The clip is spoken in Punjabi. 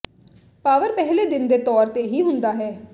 ਪਾਵਰ ਪਹਿਲੇ ਦਿਨ ਦੇ ਤੌਰ ਤੇ ਹੀ ਹੁੰਦਾ ਹੈ